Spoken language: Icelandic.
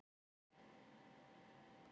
Raunar er ekkert orð skiljanlegt óháð samhengi.